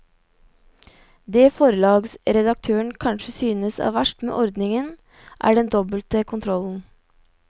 Det forlagsredaktøren kanskje syns er verst med ordningen er den dobbelte kontrollen.